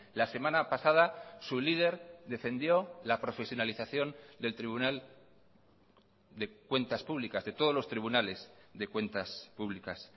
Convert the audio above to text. la semana pasada su líder defendió la profesionalización del tribunal de cuentas públicas de todos los tribunales de cuentas públicas